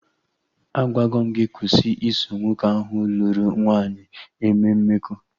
Agwago m gị kwụsị iso nwoke ahụ lụrụ nwaanyị eme mmekọ